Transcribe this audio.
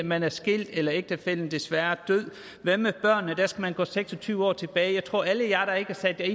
man er skilt eller ægtefællen desværre er død hvad med børnene der skal man gå seks og tyve år tilbage jeg tror at alle jer der ikke har sat